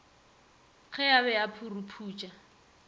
ge a be a phuruputša